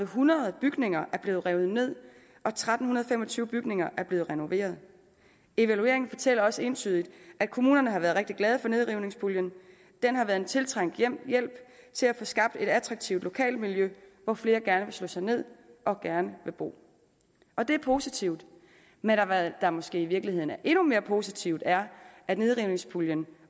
hundrede bygninger er blevet revet ned og tretten fem og tyve bygninger er blevet renoveret evalueringen fortæller også entydigt at kommunerne har været rigtig glade for nedrivningspuljen den har været en tiltrængt hjælp til at få skabt et attraktivt lokalmiljø hvor flere gerne vil slå sig ned og gerne vil bo og det er positivt men hvad der måske i virkeligheden er endnu mere positivt er at nedrivningspuljen